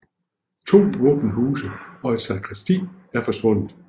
To våbenhuse og et sakristi er forsvundet